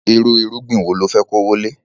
Irú irúgbìn wo lo fe kówólé